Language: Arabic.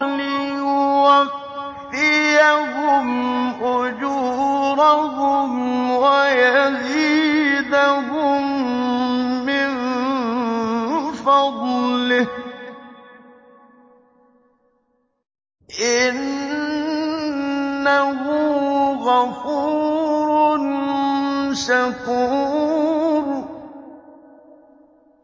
لِيُوَفِّيَهُمْ أُجُورَهُمْ وَيَزِيدَهُم مِّن فَضْلِهِ ۚ إِنَّهُ غَفُورٌ شَكُورٌ